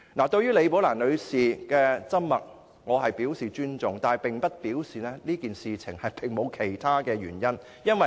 對於李寶蘭女士的緘默，我表示尊重，但這並不表示此事沒有其他原因。